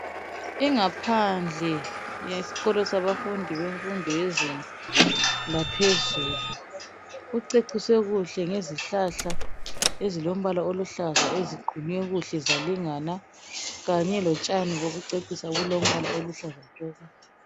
Ingaphandle yesikolo sabafundi bemfundo yezinga laphezulu kuceciswe kuhle ngezihlahla ezilombala oluhlaza eziqunywe kuhle zalingana kanye lotshani bokucecisa obulombala oluhlaza tshoko.